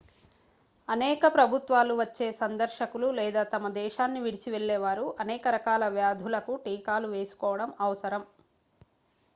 అనేక ప్రభుత్వాలు వచ్చే సందర్శకులు లేదా తమ దేశాన్నివిడిచి వెళ్ళేవారు అనేక రకాల వ్యాధులకు టీకాలు వేసుకోవడం అవసరం